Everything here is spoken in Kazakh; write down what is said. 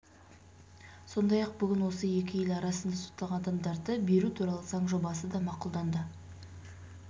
сондай ақ бүгін осы екі ел арасында сотталған адамдарды беру туралы заң жобасы да мақұлданды